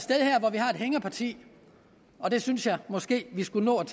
hængeparti og det synes jeg måske at vi skulle nå at